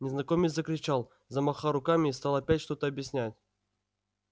незнакомец закричал замахал руками и стал опять что-то объяснять